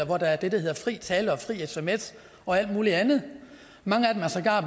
hvor der er det der hedder fri tale og fri sms og alt muligt andet mange af dem er sågar